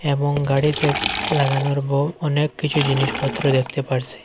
এবং গাড়িতে লাগানোর বহু অনেক কিছু জিনিস পত্র দেখতে পারছি।